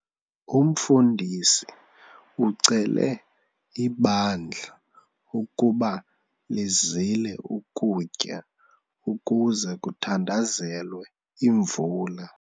Umfundisi ucele ibandla ukuba lizile ukutya ukuze kuthandazelwe imvula.